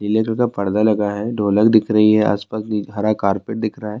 جی کا پردہ لگا ہے۔ ڈھولک دیکھ رہی ہے۔ اس پاس حرا کرپٹ دیکھ رہا ہے۔